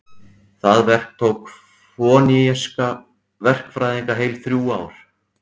Það verk tók fönikíska verkfræðinga heil þrjú ár.